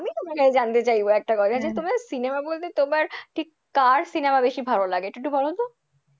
আমি তোমার কাছে জানতে চাইবো একটা কথা cinema গুলোতে ঠিক তোমার কার cinema বেশি ভালো লাগে এটা একটু বলতো?